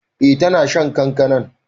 Eh ta na shan kankanan.